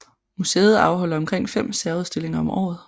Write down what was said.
Museet afholder omkring fem særudstillinger om året